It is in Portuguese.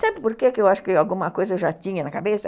Sabe por que eu acho que alguma coisa eu já tinha na cabeça?